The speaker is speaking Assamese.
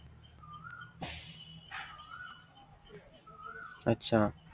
আচ্ছা